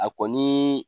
A kɔni